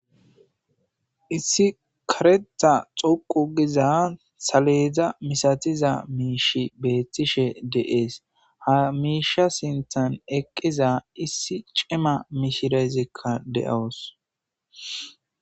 Issi kareththa xoqqu giza saleda masatiza miishshey beetishe de'es ha miishsha sinththan eqqiza issi cima mishirezikka de'awus.